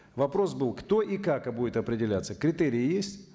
вопрос был кто и как будет определяться критерий есть